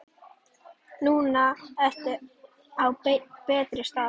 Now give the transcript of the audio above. Núna ertu á betri stað.